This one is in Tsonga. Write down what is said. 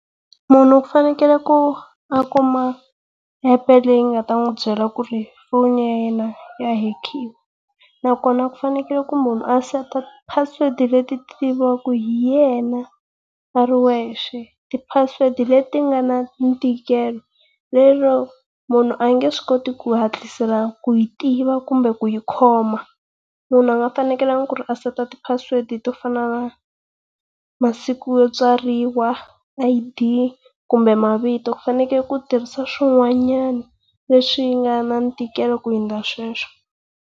Munhu ku fanekele ku a kuma epe leyi nga ta n'wi byela ku ri phone ya yena ya hekiwa. Nakona ku fanekele ku munhu a seta ti-password leti tiviwaka hi yena a ri wexe ti-password leti nga na ntikelo, lero munhu a nge swi koti ku hatlisela ku yi tiva kumbe ku yi khoma. Munhu a nga fanekelanga ku ri a seta ti password to fana na masiku yo tswariwa, I_D kumbe mavito ku fanekele ku tirhisa swin'wanyana leswi nga na ntikelo ku hundza sweswo.